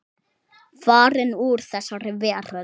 Farin úr þessari veröld.